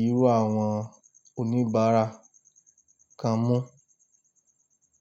irú àwọn oníbàárà kan mú.